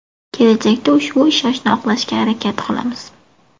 Kelajakda ushbu ishonchni oqlashga harakat qilamiz.